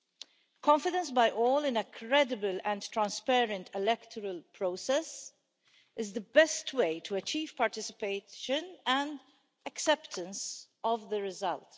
The confidence of all in a credible and transparent electoral process is the best way to achieve participation and acceptance of the result.